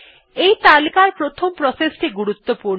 এই তালিকার প্রথম প্রসেস টি গুরুত্বপূর্ণ